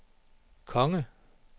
konge